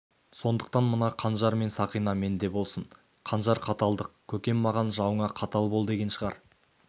сондықтан мына қанжар мен сақина менде болсын қанжар қаталдық көкем маған жауыңа қатал бол деген шығар